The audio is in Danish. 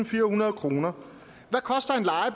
firehundrede kroner